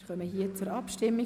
Wir kommen zur Abstimmung.